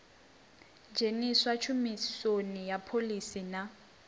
dzheniswa tshumisoni ha phoḽisi na